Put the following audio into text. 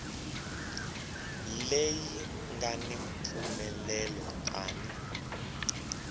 leyi nga ni mpfumelelo tani